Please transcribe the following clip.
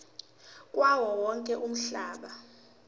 kuwo wonke umhlaba